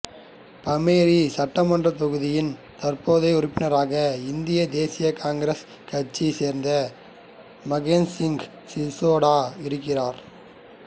பமோரி சட்டமன்றத் தொகுதியின் தற்போதைய உறுப்பினராக இந்திய தேசிய காங்கிரஸ் கட்சியைச் சேர்ந்த மகேந்திர சிங் சிசோடா இருக்கிறார்